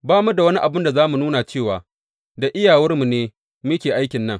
Ba mu da wani abin da za mu nuna cewa da iyawarmu ne muke aikin nan.